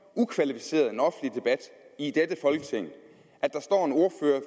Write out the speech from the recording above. ukvalificeret en offentlig debat i dette folketing